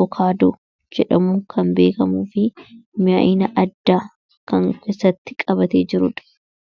madaalamuu hin dandeenye fi bakka bu’iinsa hin qabne qaba. Jireenya guyyaa guyyaa keessatti ta’ee, karoora yeroo dheeraa milkeessuu keessatti gahee olaanaa taphata. Faayidaan isaa kallattii tokko qofaan osoo hin taane, karaalee garaa garaatiin ibsamuu danda'a.